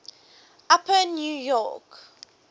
upper new york